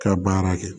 Ka baara kɛ